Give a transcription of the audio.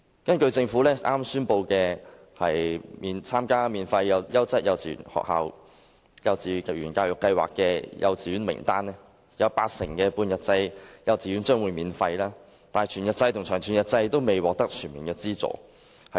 根據政府剛公布的數字，參加免費優質幼稚園教育計劃的幼稚園，有八成的半日制幼稚園將會免費，但全日制及長全日制幼稚園未能獲得全面資助。